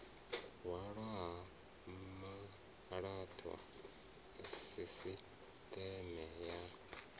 hwalwa ha malaṱwa sisiṱeme ya